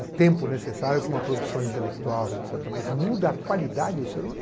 o tempo necessário para uma produção intelectual, etc., mas muda a qualidade do ser humano?